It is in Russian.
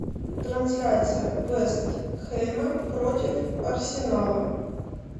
трансляция вест хэма против арсенала